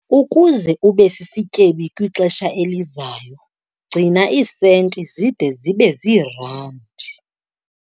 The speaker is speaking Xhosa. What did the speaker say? Ukuze ube sisityebi kwixesha elizayo, gcina iisenti zide zibe ziirandi.